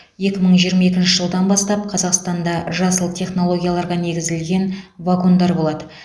екі мың жиырма екінші жылдан бастап қазақстанда жасыл технологияларға негізіген вагондар болады